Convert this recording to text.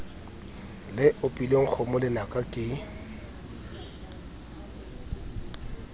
le opileng kgomo lenaka ke